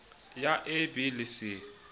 ya a b le c